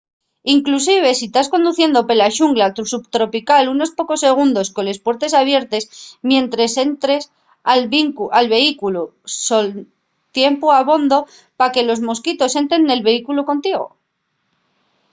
inclusive si tas conduciendo pela xungla subtropical unos pocos segundos coles puertes abiertes mientres entres al vehículu son tiempu abondo pa que los mosquitos entren nel vehículu contigo